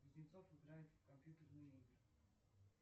кузнецов играет в компьютерные игры